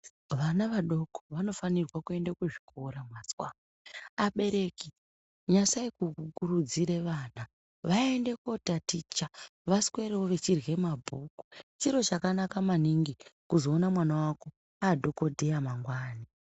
Vana vadoko vanofanira kuenda kuzvikora, mazwa! ,abereki nyasai kukuridzira vana vaende kotaticha, vaswerewo veirye mabhuku. Chiro chakanaka maningi kuzoona mwana wako adhokodheya mangwani.